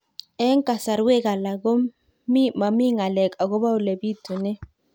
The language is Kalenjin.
Eng' kasarwek alak ko mami ng'alek akopo ole pitunee